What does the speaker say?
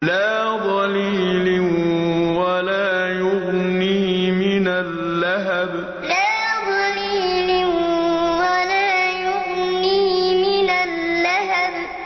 لَّا ظَلِيلٍ وَلَا يُغْنِي مِنَ اللَّهَبِ لَّا ظَلِيلٍ وَلَا يُغْنِي مِنَ اللَّهَبِ